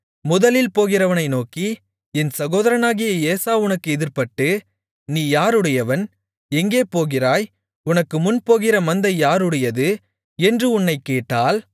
முதலில் போகிறவனை நோக்கி என் சகோதரனாகிய ஏசா உனக்கு எதிர்ப்பட்டு நீ யாருடையவன் எங்கே போகிறாய் உனக்குமுன் போகிற மந்தை யாருடையது என்று உன்னைக் கேட்டால்